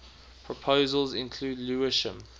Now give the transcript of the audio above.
proposals include lewisham